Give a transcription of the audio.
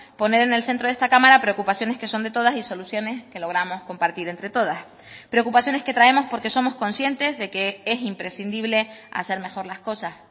poner en el centro de esta cámara preocupaciones que son de todas y soluciones que logramos compartir entre todas preocupaciones que traemos porque somos conscientes de que es imprescindible hacer mejor las cosas